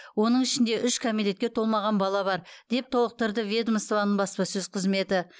оның ішінде үш кәмелетке толмаған бала бар деп толықтырды ведомствоның баспасөз қызметі